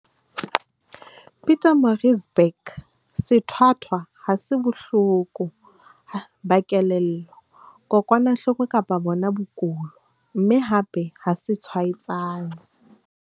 Pietermaritzburg, sethwathwa ha se bohloko ba kelello, kokwanahloko kapa bona bokulo, mme hape ha se tshwaetsane.